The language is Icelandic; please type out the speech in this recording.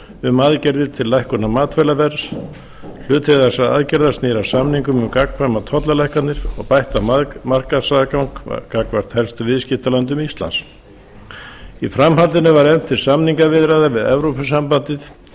um aðgerðir til lækkunar matvælaverðs hluti þessara aðgerða snýr að samningum um gagnkvæmar tollalækkanir og bættan markaðsaðgang gagnvart helstu viðskiptalöndum íslands í framhaldinu var efnt til samningaviðræðna við evrópusambandið